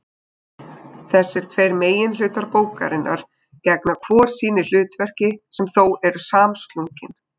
Þessir tveir meginhlutar bókarinnar gegna hvor sínu hlutverki sem þó eru samslungin.